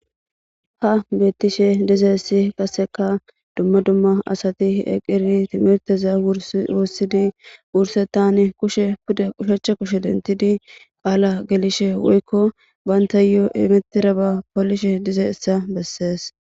ha bettishe dizeessi qaseka dumma dumma asati eqiri timerteza wursidi wurse tani kushe pude qushachcha kushe dentidi qaala gelishe woykko bayntay yoo emeteraba poolishe dizayssa bessees.